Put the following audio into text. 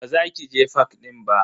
Ba za ki je fak din ba.